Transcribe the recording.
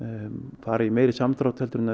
fara í meiri samdrátt en